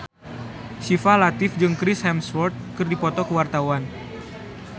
Syifa Latief jeung Chris Hemsworth keur dipoto ku wartawan